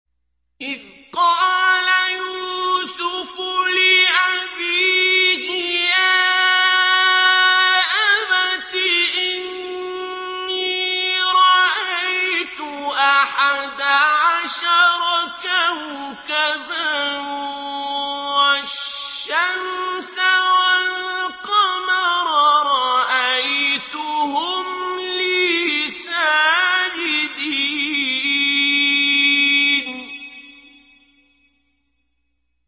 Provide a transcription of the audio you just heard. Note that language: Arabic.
إِذْ قَالَ يُوسُفُ لِأَبِيهِ يَا أَبَتِ إِنِّي رَأَيْتُ أَحَدَ عَشَرَ كَوْكَبًا وَالشَّمْسَ وَالْقَمَرَ رَأَيْتُهُمْ لِي سَاجِدِينَ